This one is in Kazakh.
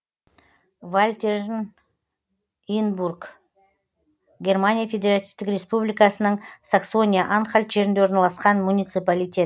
вальтернинбург германия федеративтік республикасының саксония анхальт жерінде орналасқан муниципалитет